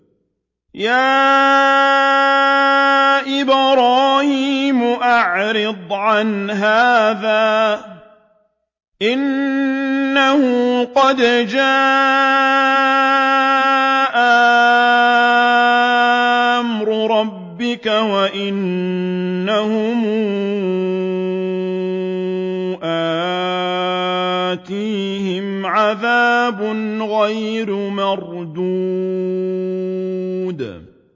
يَا إِبْرَاهِيمُ أَعْرِضْ عَنْ هَٰذَا ۖ إِنَّهُ قَدْ جَاءَ أَمْرُ رَبِّكَ ۖ وَإِنَّهُمْ آتِيهِمْ عَذَابٌ غَيْرُ مَرْدُودٍ